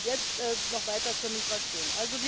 Und jetzt noch weiter zur Migration.